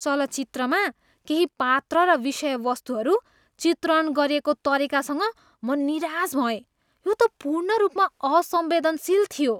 चलचित्रमा केही पात्र र विषयवस्तुहरू चित्रण गरिएको तरिकासँग म निराश भएँ। यो त पूर्ण रूपमा असंवेदनशील थियो।